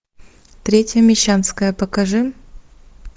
третья мещанская покажи